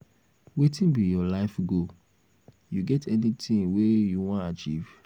wetin be your life goal you get any tings wey you wan achieve?